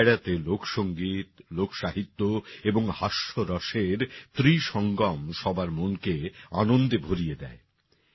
এই ডায়রাতে লোকসংগীত লোকসাহিত্য এবং হাস্যরসের ত্রিসঙ্গম সবার মনকে আনন্দে ভরিয়ে দেয়